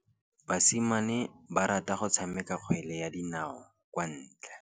Basimane ba rata go tshameka kgwele ya dinaô kwa ntle.